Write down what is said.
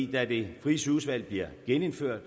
da det frie sygehusvalg bliver genindført